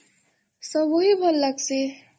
ସବୁ ହି ଭଲ୍ ଲାଗସି